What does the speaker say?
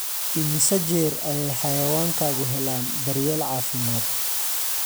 Immisa jeer ayay xayawaankaagu helaan daryeel caafimaad?